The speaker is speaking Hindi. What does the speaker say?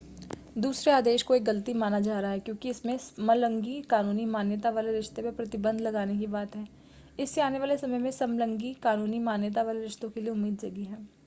दूसरे आदेश को एक गलती माना जा रहा है क्योंकि इसमें समलिंगी कानूनी मान्यता वाले रिश्ते पर प्रतिबंध लगाने की बात है इससे आने वाले समय में समलिंगी कानूनी मान्यता वाले रिश्तों के लिए उम्मीद जगी है